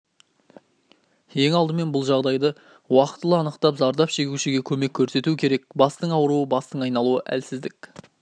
ең алдымен бұл жағдайды уақытылы анықтап зардап шегушіге көмек көрсету керек бастың ауруы бастың айналуы әлсіздік